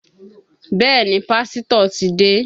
Bẹẹ ni, Pásítọ̀ ti dé.